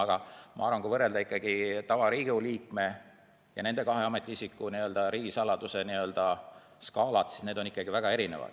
Aga ma arvan, et kui võrrelda Riigikogu lihtliikme ja nende kahe ametiisiku riigisaladuse skaalat, siis need on ikkagi väga erinevad.